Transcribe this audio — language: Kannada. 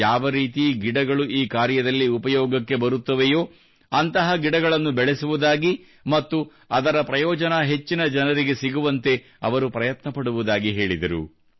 ಯಾವ ರೀತಿ ಗಿಡಗಳು ಈ ಕಾರ್ಯದಲ್ಲಿ ಉಪಯೋಗಕ್ಕೆಬರುತ್ತದೆಯೋ ಅಂತಹ ಗಿಡಗಳನ್ನು ಬೆಳೆಸುವುದಾಗಿ ಮತ್ತು ಅದರ ಪ್ರಯೋಜನ ಹೆಚ್ಚಿನ ಜನರಿಗೆ ಸಿಗುವಂತೆ ಅವರು ಪ್ರಯತ್ನ ಪಡುವುದಾಗಿ ಅವರು ಹೇಳಿದರು